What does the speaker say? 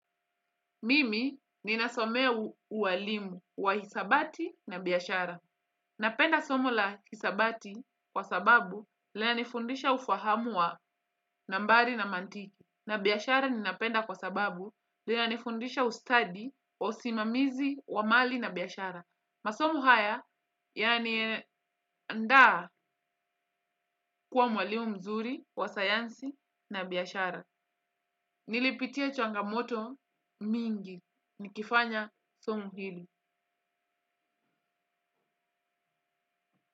Mimi ninasomea uwalimu wa hisabati na biashara. Napenda somo la hisabati kwa sababu lina nifundisha ufahamu wa nambari na mantiki. Na biashara ninapenda kwa sababu lina nifundisha ustadi wa usimamizi wa mali na biashara. Masom haya yani ndaa kuwa mwalimu mzuri wa sayansi na biyashara. Nilipitia changamoto mingi nikifanya somo hili.